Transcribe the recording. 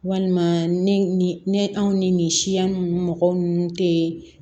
Walima ne ne anw ni nin siya ninnu mɔgɔ ninnu tɛ